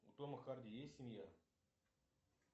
у тома харди есть семья